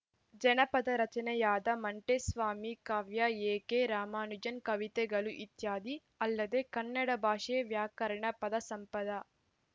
ಜನಪದ ರಚನೆಯಾದ ಮಂಟೆಸ್ವಾಮಿ ಕಾವ್ಯ ಎಕೆ ರಾಮಾನುಜನ್‌ ಕವಿತೆಗಳು ಇತ್ಯಾದಿ ಅಲ್ಲದೆ ಕನ್ನಡ ಭಾಷೆ ವ್ಯಾಕರಣ ಪದ ಸಂಪದ